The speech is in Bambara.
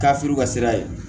K'a furu ka sira ye